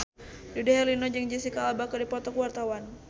Dude Herlino jeung Jesicca Alba keur dipoto ku wartawan